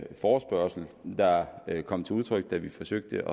forespørgsel der kom til udtryk da vi forsøgte